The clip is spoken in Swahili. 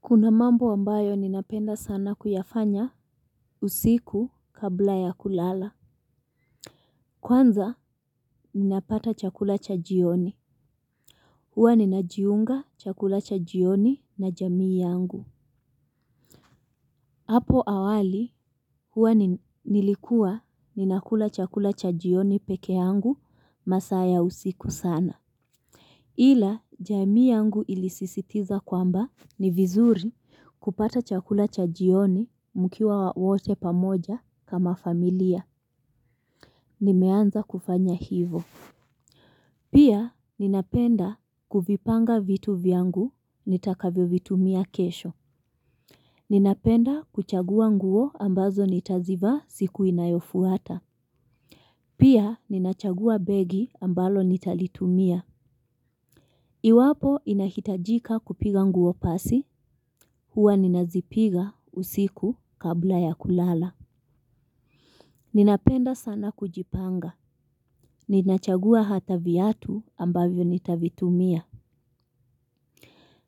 Kuna mambo ambayo ninapenda sana kuyafanya usiku kabla ya kulala. Kwanza ninapata chakula cha jioni. Huwa ninajiunga chakula cha jioni na jamii yangu. Hapo awali huwa nilikuwa ninakula chakula cha jioni pekee yangu masaa ya usiku sana. Ila, jamii yangu ilisisitiza kwamba ni vizuri kupata chakula cha jioni mkiwa wote pamoja kama familia. Nimeanza kufanya hivyo. Pia, ninapenda kuvipanga vitu vyangu nitakavyo vitumia kesho. Ninapenda kuchagua nguo ambazo nitazivaa siku inayofuata. Pia, ninachagua begi ambalo nitalitumia. Iwapo inahitajika kupiga nguo pasi, huwa ninazipiga usiku kabla ya kulala. Ninapenda sana kujipanga, ninachagua hata viatu ambavyo nitavitumia.